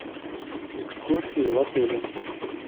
экскурсии в отеле